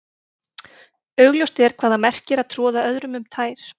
Augljóst er hvað það merkir að troða öðrum um tær.